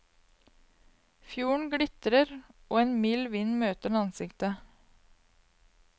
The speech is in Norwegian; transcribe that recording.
Fjorden glitrer, og en mild vind møter ansiktet.